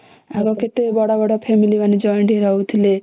ଆଗେ କେତେ ବଡ ବଡ family ମାନେ joint ହେଇକି ରହୁଥିଲେ